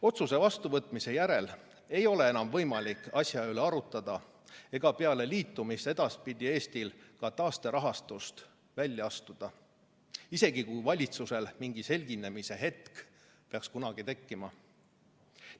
Otsuse vastuvõtmise järel ei ole enam võimalik asja üle arutada ega peale liitumist edaspidi Eestil ka taasterahastust välja astuda – isegi kui valitsusel mingi selginemise hetk peaks kunagi tekkima.